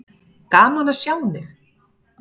Gaman að sjá þig.